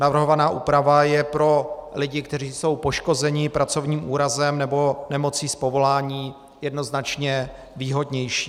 Navrhovaná úprava je pro lidi, kteří jsou poškození pracovním úrazem nebo nemocí z povolání, jednoznačně výhodnější.